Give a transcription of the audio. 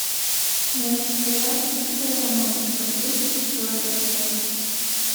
найти сериал чистая романтика тридцать четвертая часть